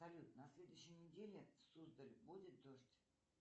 салют на следующей неделе суздаль будет дождь